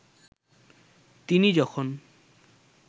তিনি যখন